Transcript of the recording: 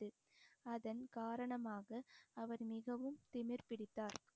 அதன் காரணமாக அவர் மிகவும் திமிர் பிடித்தார்